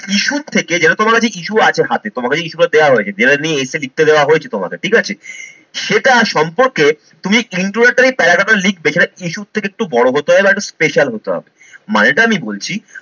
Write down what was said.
issue থেকে যেরকম issue আছে হাতে, তোমার কাছে issue গুলো দেওয়া হয়েছে যেটা নিয়ে essay লিখতে দেওয়া হয়েছে তোমাকে ঠিক আছে সেটা সম্পর্কে তুমি introductory paragraph টা লিখবে সেটা issue র থেকে একটু বড়ো হতে হবে বা একটু special হতে হবে। মানেটা আমি বলছি